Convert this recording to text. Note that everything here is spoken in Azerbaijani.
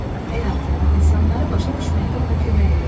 Həyatı, insanları başa düşməkdə ona kömək edir.